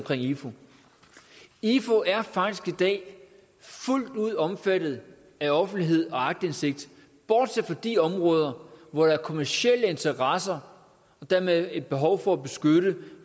ifu ifu er faktisk i dag fuldt ud omfattet af offentlighed og aktindsigt bortset fra de områder hvor der er kommercielle interesser og dermed et behov for at beskytte